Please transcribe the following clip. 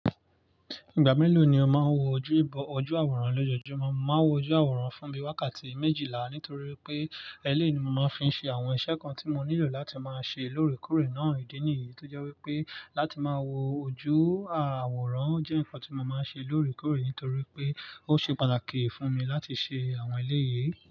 Ìgbà mélòó ni o máa ń wo ojú ìbò–ojú àwòrán lọ́jọ́júmọ́? Mo máa ń wo ojú àwòrán fún mi wákàtí méjìlá nítorí pé eléyìí ni mo máa ń fi ń ṣe àwọn iṣẹ́ kan tí mo nílò láti máa ṣe lóòrèkóòrè náà. Ìdí nìyí tó jẹ́ wípé láti máa wo ojú àwòrán jẹ́ ǹkan tí mo máa ń ṣe lóòrèkóòrè nítorí pé ó ṣe pàtàkì fún mi láti ṣe àwọn eléyìí.